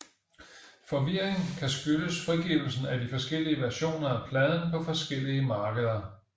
Forvirring kan skyldes frigivelsen af de forskellige versioner af pladen på forskellige markeder